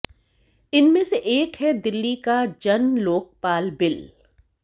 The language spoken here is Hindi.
इनमें से एक है दिल्ली का जन लोकपाल बिल